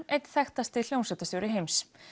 einn þekktasti hljómsveitarstjóri heims